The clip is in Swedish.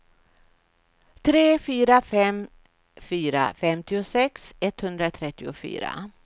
tre fyra fem fyra femtiosex etthundratrettiofyra